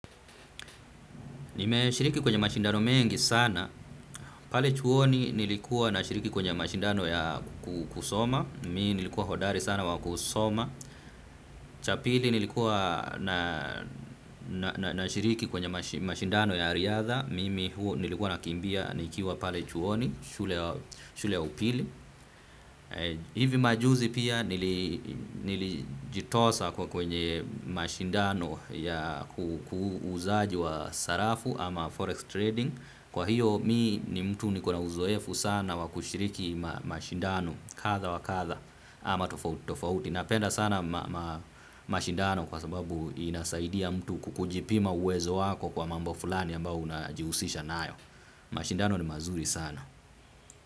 Nimeshiriki kwenye mashindano mengi sana, pale chuoni nilikuwa na shiriki kwenye mashindano ya kusoma, mimi nilikuwa hodari sana wa kusoma, cha pili nilikuwa nashiriki kwenye mashindano ya riadha, mimi nilikuwa nakimbia nikiwa pale chuoni, shule upili. Hivi majuzi pia nilijitosa kwenye mashindano ya uuzaji wa sarafu ama forex trading. Kwa hiyo mimi ni mtu nikona uzoefu sana wa kushiriki mashindano kadha wa kadha ama tofauti. Napenda sana mashindano kwa sababu inasaidia mtu kujipima uwezo wako kwa mambo fulani ambayo unajihusisha nayo. Mashindano ni mazuri sana.